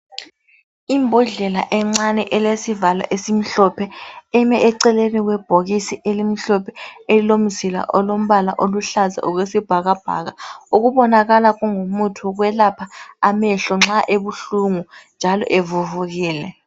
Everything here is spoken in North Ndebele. Imbodlela encane elesivalo esimhlophe, eme eceleni kwebhokisi elimhlophe elilomzila olombala oluhlaza okwesibhakabhaka, okubonakala kungumuthi wokwelapha amehlo nxa ebuhlungu njalo evuvukile.